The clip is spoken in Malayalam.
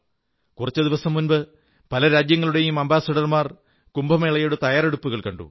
കുറച്ചു ദിവസം മുമ്പ് പല രാജ്യങ്ങളുടെയും അംബാസഡർമാർ കുംഭമേളയുടെ തയ്യാറെടുപ്പുകൾ കണ്ടു